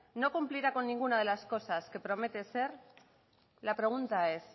no cumplirá con ninguna de las cosas que promete ser la pregunta es